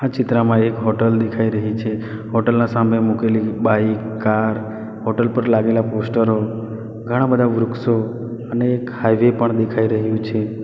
આ ચિત્રામાં એક હોટલ દેખાઈ રહી છે હોટલ ના સામે મૂકેલી બાઈક કાર હોટલ પર લાગેલા પોસ્ટરો ઘણા બધા વૃક્ષો અને એક હાઇવે પણ દેખાઈ રહ્યું છે.